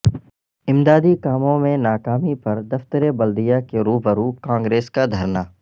امدادی کاموں میں ناکامی پر دفتر بلدیہ کے روبرو کانگریس کا دھرنا